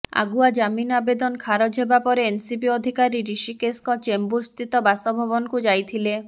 ଆଗୁଆ ଜାମିନ ଆବେଦନ ଖାରଜ ହେବାପରେ ଏନ୍ସିବି ଅଧିକାରୀ ଋଷିକେଶଙ୍କ ଚେମ୍ବୁର ସ୍ଥିତ ବାସଭବନକୁ ଯାଇଥିଲେ